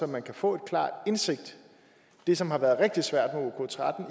man kan få en klar indsigt det som har været rigtig svært